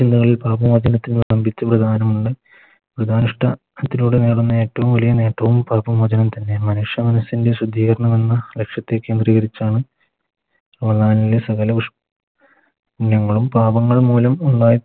വൃതാനുഷ്ട്ടാ ത്തിലൂടെ നേടുന്ന ഏറ്റവും വലിയ നേട്ടവും പാപ മോചനം തന്നെ മനുഷ്യ മനസ്സിൻറെ ശുദ്ധീകരണമെന്ന ലക്ഷ്യത്തേക്ക് പാപങ്ങളും മൂലം